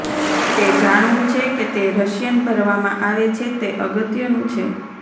તે જાણવું છે કે તે રશિયન ભરવામાં આવે છે તે અગત્યનું છે